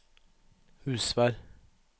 Husvær